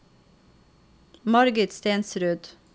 Margit Stensrud